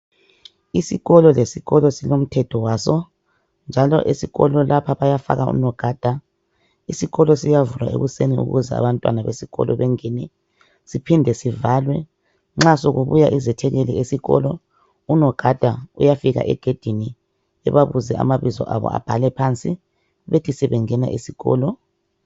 Isikolo lesikolo silomthetho waso njalo esikolo lapha bayafaka unogada isikolo siyavulwa ekuseni ukuze abantwana besikolo bengene siphinde sivalwe. Nxa sokubuya izethekeli esikolo unogada uyafika egedini ebabuze amabizi abo abhale phansi bethi sebengena esikolo.